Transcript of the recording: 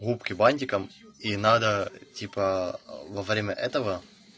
губки бантиком и надо типа во время этого